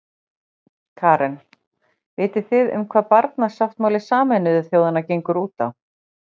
Karen: Vitið þið um hvað barnasáttmáli Sameinuðu þjóðanna gengur út á?